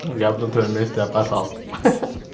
я бы на твоём месте опасался ха-ха